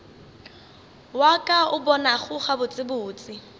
wa ka o bonago gabotsebotse